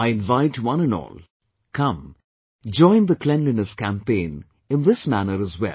I invite one and all Come, join the Cleanliness Campaign in this manner as well